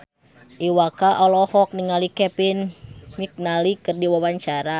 Iwa K olohok ningali Kevin McNally keur diwawancara